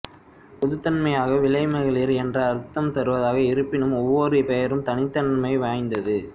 பொதுத்தன்மையாக விலைமகளிர் என்ற அர்த்தம் தருவதாக இருப்பினும் ஒவ்வொரு பெயரும் தனித்தன்மை வாய்ந்தது